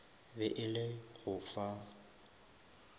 be e le go fa